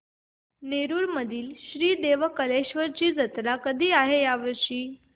नेरुर मधील श्री देव कलेश्वर ची जत्रा कधी आहे या वर्षी